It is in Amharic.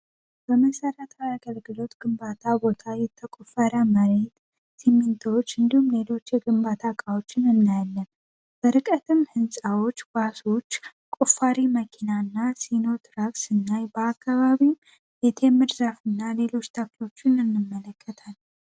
በመሰረተ ያገልግሎት ግንባታ ቦታ የተቆፈረመ ስሚንቶች እንዲሁም ሌሎች ግንባታ እቃዎችን እናያለን ንፃዎች ቆፋሪ መኪናና